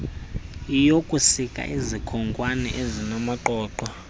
yokusika izikhonkwane ezinamaqoqo